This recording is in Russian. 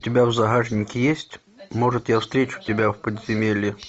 у тебя в загашнике есть может я встречу тебя в подземелье